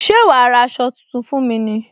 Ṣé wá ra aṣọ tuntun fún mi ní